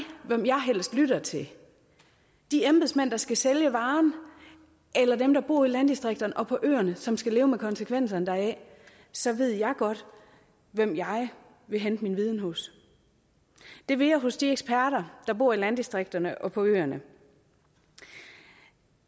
hvem jeg helst lytter til de embedsmænd der skal sælge varen eller dem der bor i landdistrikterne og på øerne som skal leve med konsekvenserne deraf så ved jeg godt hvem jeg vil hente min viden hos det vil jeg hos de eksperter der bor i landdistrikterne og på øerne